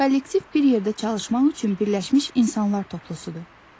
Kollektiv bir yerdə çalışmaq üçün birləşmiş insanlar topluluğudur.